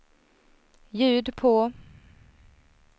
ljud på